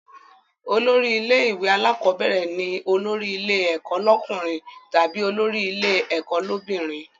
Olórí ilé ìwé alákọ́bẹ̀rẹ̀ ni olórí ilé ẹ̀kọ́ lọ́kùnrin tàbí olórí ilé ẹ̀kọ́ l'óbìnrin